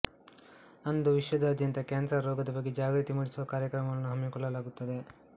ಅಂದು ವಿಶ್ವದಾದ್ಯಂತ ಕ್ಯಾನ್ಸರ್ ರೋಗದ ಬಗ್ಗೆ ಜಾಗೃತಿಮೂಡಿಸುವ ಕಾರ್ಯಕ್ರಮಗಳನ್ನು ಹಮ್ಮಿಕೊಳ್ಳಲಾಗುತ್ತದೆ